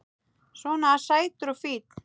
Svona sætur og fínn!